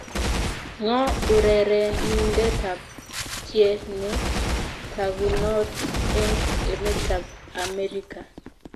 Ng'o urerenindetap tye ne tagunoot eng' emetap amerika